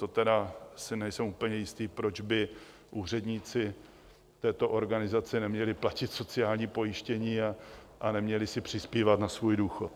To tedy si nejsem úplně jistý, proč by úředníci této organizace neměli platit sociální pojištění a neměli si přispívat na svůj důchod.